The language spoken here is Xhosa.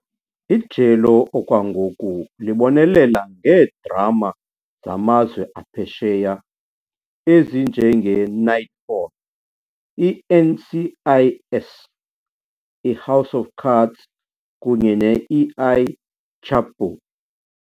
Ijelo okwangoku libonelela ngeedrama zamazwe aphesheya ezinjengeKnightfall, iNCIS, iHouse of Cards kunye ne-El Chapo.